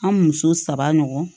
An muso saba ɲɔgɔn